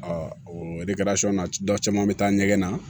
o na dɔ caman bɛ taa ɲɛgɛn na